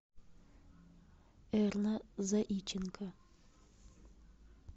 эрна заиченко